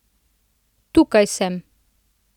Tukaj sem!